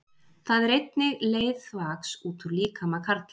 Það er einnig leið þvags út úr líkama karla.